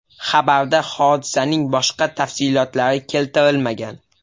Xabarda hodisaning boshqa tafsilotlari keltirilmagan.